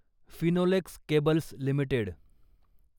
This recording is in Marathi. Finolex cables limited